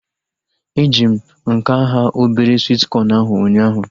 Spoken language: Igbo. Eji m nke nhá obere swit kọn ahu ụnyaahụ